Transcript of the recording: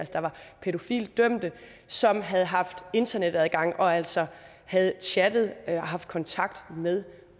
pædofilidømte som havde haft internetadgang og altså havde chattet og haft kontakt med